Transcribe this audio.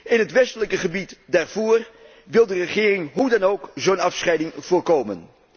In het westelijke gebied Darfur wil de regering hoe dan ook zo'n afscheiding voorkomen.